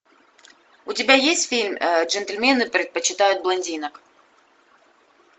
у тебя есть фильм джентльмены предпочитают блондинок